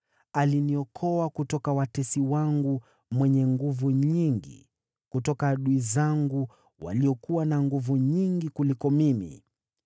Aliniokoa kutoka adui wangu mwenye nguvu nyingi, kutoka adui zangu waliokuwa na nguvu nyingi kuliko mimi.